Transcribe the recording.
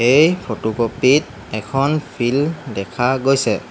এই ফটোকপিট এখন ফিল্ড দেখা গৈছে।